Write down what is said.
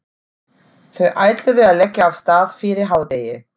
Þau ætluðu að leggja af stað fyrir hádegi.